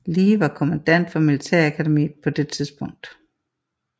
Lee var kommandant for militærakademiet på det tidspunkt